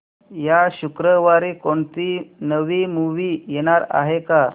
या शुक्रवारी कोणती नवी मूवी येणार आहे का